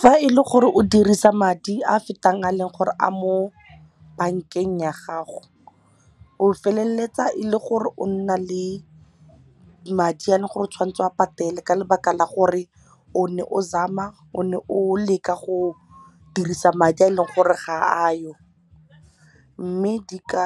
Fa e le gore o dirisa madi a fetang a leng gore a mo bank-eng ya gago o feleletsa e le gore o nna le madi a le gore o tshwanetse o patele ka lebaka la gore o ne o zama o ne o leka go dirisa madi a e leng gore ga a yo mme di ka